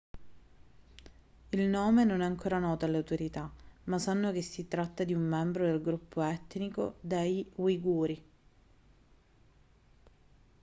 il nome non è ancora noto alle autorità ma sanno che si tratta di un membro del gruppo etnico degli uiguri